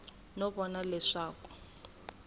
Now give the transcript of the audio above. no vona leswaku a a